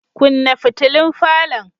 Kunna fitulun falon.